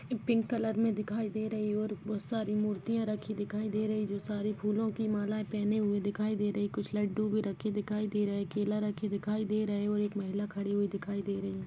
Pink colour मे दिखाई दे रही है और बहुत सारी मूर्तिया रखी दिखाई दे रही है जो सारी फूलों की मालाए पहेने हुए दिखाई दे रही कुछ लड्डू भी रखे दिखाई दे रहे केला रखे दिखाई दे रहे और एक महिला खड़ी हुई दिखाई दे रही है।